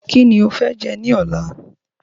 Kíni o fẹ́ jẹ ní ọ̀lá?